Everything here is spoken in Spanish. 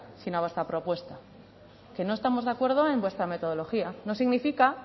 sino a vuestra propuesta que no estamos de acuerdo en vuestra metodología no significa